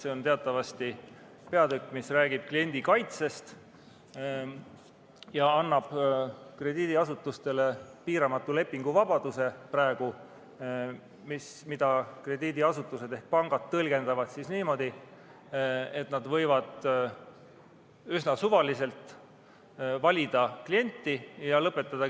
See on teatavasti paragrahv, mis räägib kliendi kaitsest ja annab praegu krediidiasutustele piiramatu lepinguvabaduse, mida krediidiasutused ehk pangad tõlgendavad niimoodi, et nad võivad üsna suvaliselt klienti valida ja kliendilepinguid lõpetada.